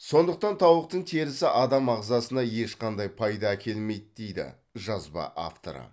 сондықтан тауықтың терісі адам ағзасына ешқандай пайда әкелмейді дейді жазба авторы